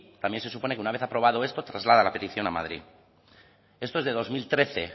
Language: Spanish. también se supone que una vez aprobado esto se traslada la petición a madrid esto es de dos mil trece